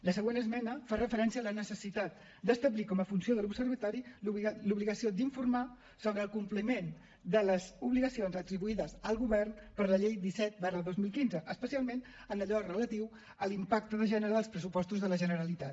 la següent esmena fa referència a la necessitat d’establir com a funció de l’observatori l’obligació d’informar sobre el compliment de les obligacions atribuïdes al govern per la llei disset dos mil quinze especialment en allò relatiu a l’impacte de gènere dels pressupostos de la generalitat